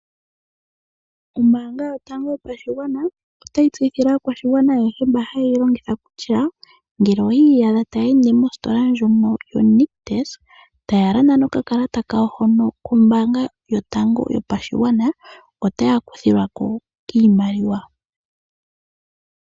Ombaanga yotango yopashigwana, otayi tseyithile aakwashigwana ayehe mba hayeyi longitha kutya, ngele oyi iyadha taya ende mostola ndjono yoNictus, taya landa nokakalata kawo hono koombanga yotango yopashigwana, otaya kuthilwako koondando.